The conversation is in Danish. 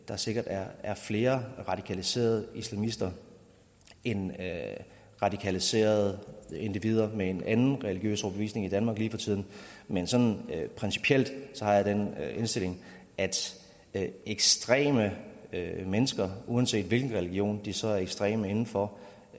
der sikkert er flere radikaliserede islamister end radikaliserede individer med en anden religiøs overbevisning i danmark lige for tiden men sådan principielt har jeg den indstilling at at ekstreme mennesker uanset hvilken religion de så er ekstreme inden for